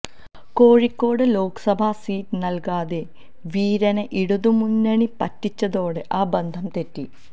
Kozhikode Lok Sabha seat നല്കാതെ വീരനെ ഇടതുമുന്നണി പറ്റിച്ചതോടെ ആ ബന്ധം തെറ്റി